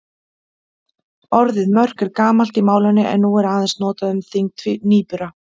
Orðið mörk er gamalt í málinu en er nú aðeins notað um þyngd nýbura.